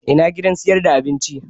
Ina gidan sayar da abinci